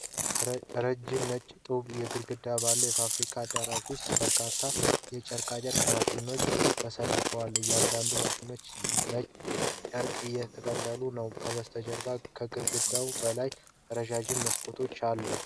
ረጅም፣ ነጭ የጡብ ግድግዳዎች ባለው የፋብሪካ አዳራሽ ውስጥ በርካታ የጨርቃጨርቅ ማሽኖች ተሰልፈዋል። እያንዳንዳቸው ማሽኖች ነጭ ጨርቅ እየጠቀለሉ ነው። ከበስተጀርባው ከግድግዳው በላይ ረዣዥም መስኮቶች አሉ።